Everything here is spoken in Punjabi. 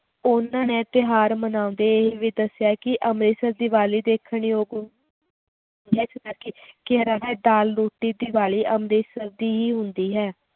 ਉਹਨਾਂ ਨੇ ਤਿਉਹਾਰ ਮਨਾਉਂਦੇ ਇਹ ਵੀ ਦੱਸਿਆ ਕਿ ਅੰਮ੍ਰਿਤਸਰ ਦੀਵਾਲੀ ਦੇਖਣ ਯੋਗ ਦਾਲ ਰੋਟੀ ਦੀਵਾਲੀ ਅੰਮ੍ਰਿਤਸਰ ਦੀ ਹੀ ਹੁੰਦੀ ਹੈ